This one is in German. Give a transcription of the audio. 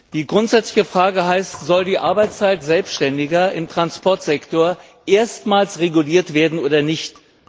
Die grundsätzliche Frage heißt Soll die Arbeitszeit Selbständiger im Transportsektor erstmals reguliert werden oder nicht?